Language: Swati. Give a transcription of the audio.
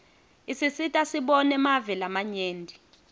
isisita sibone mave lamanye